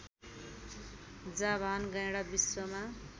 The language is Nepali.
जाभान गैंडा विश्वमा